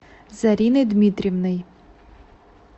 зариной дмитриевной